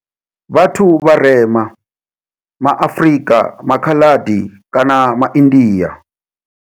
Vhathu vharema, ma Afrika, maKhaladi kana maIndia.